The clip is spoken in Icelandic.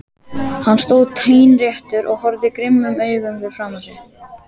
Hann stóð teinréttur og horfði grimmum augum fram fyrir sig.